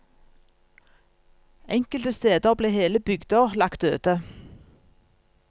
Enkelte steder ble hele bygder lagt øde.